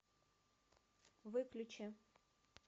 выключи